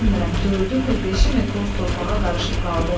Bilirəm, dördü mü, beşi mü toz torpağa qarışıb qaldı.